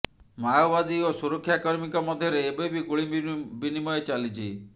ମାଓବାଦୀ ଓ ସୁରକ୍ଷାକର୍ମୀଙ୍କ ମଧ୍ୟରେ ଏବେବି ଗୁଳି ବିନିମୟ ଚାଲିଛି